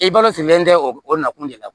I balo silen tɛ o nakun de la